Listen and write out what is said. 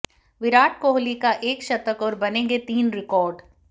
विराट कोहली का एक शतक और बनेंगे तीन रिकॉर्ड